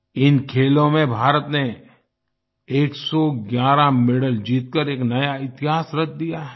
इन खेलों में भारत ने 111 मेडल जीतकर एक नया इतिहास रच दिया है